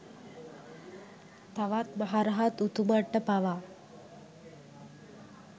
තවත් මහ රහත් උතුමන්ට පවා